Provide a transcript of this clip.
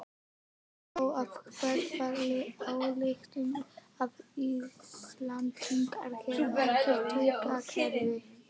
Dró af því þá ályktun að Íslendingar hefðu ekkert taugakerfi.